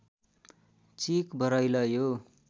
चिक बरैल यो